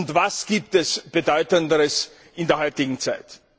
Und was gibt es Bedeutenderes in der heutigen Zeit?